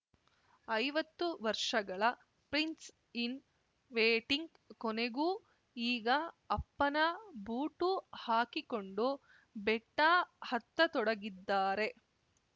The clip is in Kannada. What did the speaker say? ಐವತ್ತು ವರ್ಷಗಳ ಪ್ರಿನ್ಸ್‌ ಇನ್‌ ವೇಟಿಂಗ್‌ ಕೊನೆಗೂ ಈಗ ಅಪ್ಪನ ಬೂಟು ಹಾಕಿಕೊಂಡು ಬೆಟ್ಟಹತ್ತತೊಡಗಿದ್ದಾರೆ